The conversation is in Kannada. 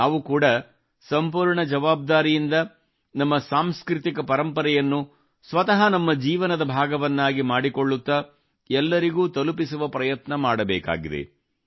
ನಾವು ಕೂಡಾ ಸಂಪೂರ್ಣ ಜವಾಬ್ದಾರಿಯಿಂದ ನಮ್ಮ ಸಾಂಸ್ಕೃತಿಕ ಪರಂಪರೆಯನ್ನು ಸ್ವತಃ ನಮ್ಮ ಜೀವನದ ಭಾಗವನ್ನಾಗಿ ಮಾಡಿಕೊಳ್ಳುತ್ತಾ ಎಲ್ಲರಿಗೂ ತಲುಪಿಸುವ ಪ್ರಯತ್ನ ಮಾಡಬೇಕು